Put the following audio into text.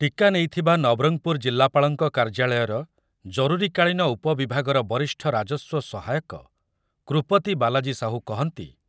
ଟୀକା ନେଇଥିବା ନବରଙ୍ଗପୁର ଜିଲ୍ଲାପାଳଙ୍କ କାର୍ଯ୍ୟାଳୟର ଜରୁରୀକାଳୀନ ଉପବିଭାଗର ବରିଷ୍ଠ ରାଜସ୍ୱ ସହାୟକ କୃପତୀ ବାଲାଜୀ ସାହୁ କହନ୍ତି